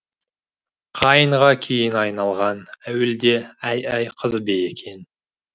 қайыңға кейін айналған әуелде әй әй қыз бе екен